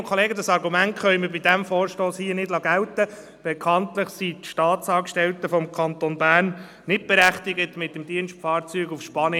In Norwegen weisen heute 42 Prozent der verkauften Neuwagen alternative Antriebe auf.